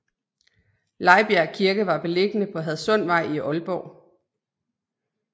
Lejbjerg Kirke var beliggende på Hadsundvej i Aalborg